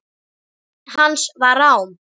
Rödd hans var rám.